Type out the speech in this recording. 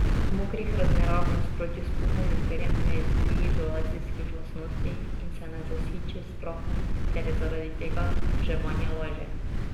V mokrih razmerah v nasprotju s puhom in perjem ne izgubi izolacijskih lastnosti in se ne zasiči s prahom ter je zaradi tega vzdrževanje lažje.